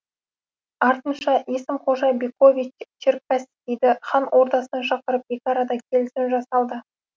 артынша есім қожа бекович черкасскийді хан ордасына шақырып екі арада келісім жасалды